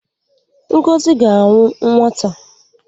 Ngozi ga-anwụ n'nwata.